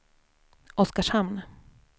Oskarshamn